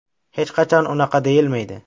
Hech qachon unaqa deyilmaydi.